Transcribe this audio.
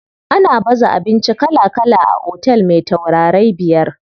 Ana baza abinci kala kala a otel me taurarai biyar.